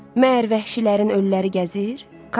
Məyər vəhşilərin ölüləri gəzir?